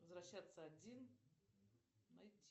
возвращаться один найти